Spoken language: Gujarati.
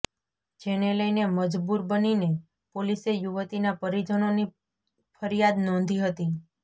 જેને લઇને મજબૂર બનીને પોલીસે યુવતીના પરીજનોની ફરિયાદ નોંધી હતી